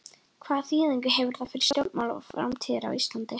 Hvaða þýðingu hefur það fyrir stjórnmál framtíðarinnar á Íslandi?